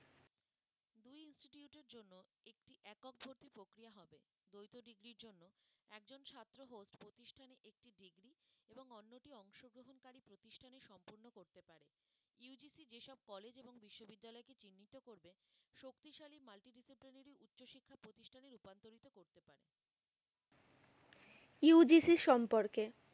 UGC এর সম্পর্কে